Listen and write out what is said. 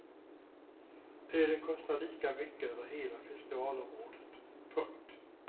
Ölen kostar lika mycket över hela festivalområdet. punkt